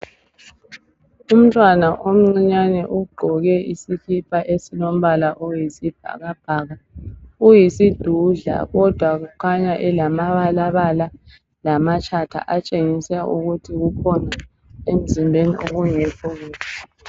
Umntwana omncane ugqoke isikipa esilombala oyisibhakabhaka, uyisidudla kodwa ukhanya elamabalabala lamatshatha okutshengisa ukuthi kukhona okungekho kuhle emzimbeni.